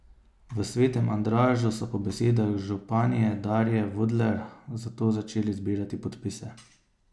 V Svetem Andražu so po besedah županje Darje Vudler zato začeli zbirati podpise.